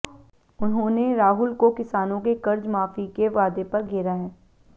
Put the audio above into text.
उन्होंने राहुल को किसानों के कर्ज माफी के वादे पर घेरा है